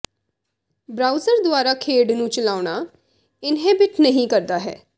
browser ਦੁਆਰਾ ਖੇਡ ਨੂੰ ਚਲਾਉਣਾ ਇੰਨਹੇਬਿਟ ਨਹੀ ਕਰਦਾ ਹੈ